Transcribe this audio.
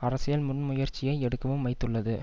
அரசியல் முன்முயற்சியை எடுக்கவும் வைத்துள்ளது